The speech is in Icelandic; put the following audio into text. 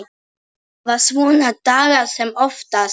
Hafa svona daga sem oftast.